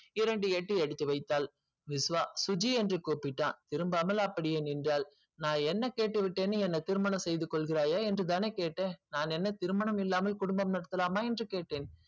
இரண்டு அடி எடுத்து வைத்தால் விஸ்வ சுஜி என்று கூப்பிட்டான் திரும்பி பார்க்காமல் அப்படியே நின்றாள் நான் என்ன கேட்டு விட்டேன் என்று என்னை திருணம் செய்து கொள்கிறய்ய என்று கேட்டன் நான் என்ன திருமணம் இல்லாமல் குடும்பம் நடத்தலாமா என்று கேட்டன்